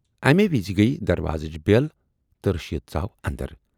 امی وِزِ گٔیہِ دروازٕچ بٮ۪ل تہٕ رشیٖد ژاو اندر۔